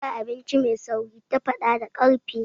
Ba abinci mai sauri”, ta faɗa da ƙarfi.